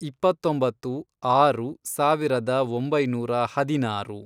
ಇಪ್ಪತ್ತೊಂಬತ್ತು, ಆರು, ಸಾವಿರದ ಒಂಬೈನೂರ ಹದಿನಾರು